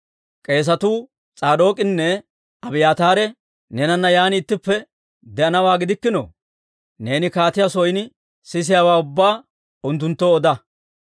K'eesetuu S'aadook'inne Abiyaataare neenana yaan ittippe de'anawaa gidikkino? Neeni kaatiyaa son sisiyaawaa ubbaa unttunttoo oda.